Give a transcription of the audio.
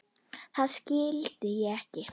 Það skildi ég ekki.